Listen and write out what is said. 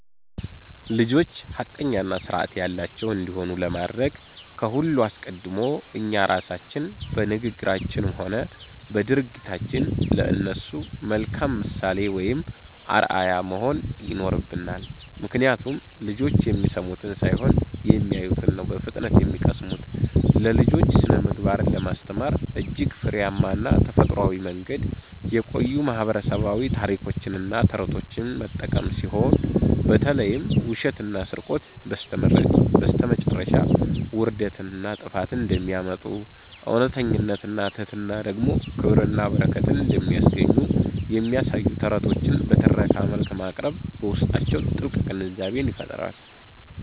ልጆች ሐቀኛና ሥርዓት ያላቸው እንዲሆኑ ለማድረግ ከሁሉ አስቀድሞ እኛ ራሳችን በንግግራችንም ሆነ በድርጊታችን ለእነሱ መልካም ምሳሌ ወይም አርአያ መሆን ይኖርብናል፤ ምክንያቱም ልጆች የሚሰሙትን ሳይሆን የሚያዩትን ነው በፍጥነት የሚቀስሙት። ለልጆች ስነ-ምግባርን ለማስተማር እጅግ ፍሬያማና ተፈጥሯዊው መንገድ የቆዩ ማህበረሰባዊ ታሪኮችንና ተረቶችን መጠቀም ሲሆን፣ በተለይም ውሸትና ስርቆት በስተመጨረሻ ውርደትንና ጥፋትን እንደሚያመጡ፣ እውነተኝነትና ትሕትና ደግሞ ክብርንና በረከትን እንደሚያስገኙ የሚያሳዩ ተረቶችን በትረካ መልክ ማቅረብ በውስጣቸው ጥልቅ ግንዛቤን ይፈጥራል።